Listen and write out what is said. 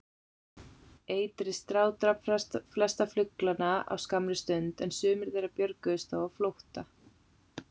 Eitrið strádrap flesta fuglana á skammri stund, en sumir þeirra björguðust þó á flótta.